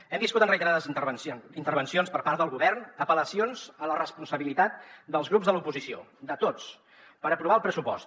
hem viscut en reiterades intervencions per part del govern apel·lacions a la responsabilitat dels grups de l’oposició de tots per aprovar el pressupost